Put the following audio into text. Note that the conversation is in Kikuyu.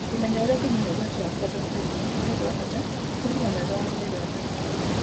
Kũmenya ũrĩa ũngĩnyihia ũgwati wa kũgwatwo nĩ mĩrimũ nĩ ũndũ wa bata harĩ ũgima mwega wa mwĩrĩ wa famĩlĩ yaku.